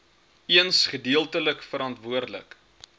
eens gedeeltelik verantwoordelik